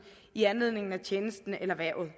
i anledning af tjenesten eller hvervet